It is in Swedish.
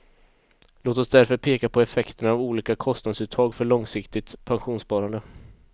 Låt oss därför peka på effekterna av olika kostnadsuttag för långsiktigt pensionssparande.